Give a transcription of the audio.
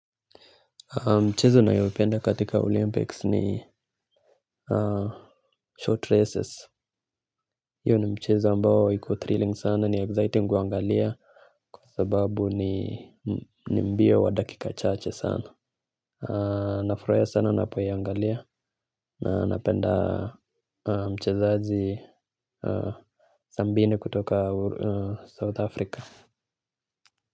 Mchezo nayoipenda katika Olympics ni short races hiyo ni mchezo ambao iko thrilling sana ni exciting kuangalia kwasababu ni ni mbio wadakika chaache sana. Nafurahiya sana napoiangalia na napenda mchezaji sambine kutoka South Africa.